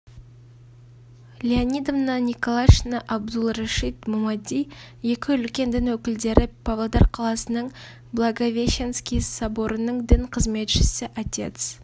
леонидовна николашина абдулрашид мумади екі үлкен дін өкілдері павлодар қаласының благовещенский соборының дін қызметшісі отец